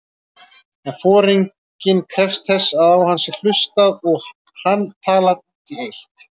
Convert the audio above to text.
En foringinn krefst þess að á hann sé hlustað og hann talar út í eitt.